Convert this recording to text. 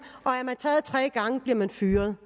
og taget tre gange bliver man fyret